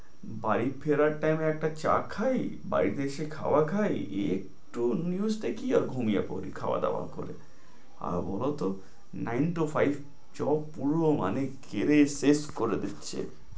বাড়ি ফেরার time এ একটা চা খাই বাড়িতে এসে খাবার খাই একটু news দেখি আর ঘুমিয়ে পড়ি খাওয়া-দাওয়া করে আর ওরও তো nine to five job পুরো মানে কেড়ে শেষ করে দিচ্ছে